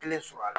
Kelen sɔrɔ a la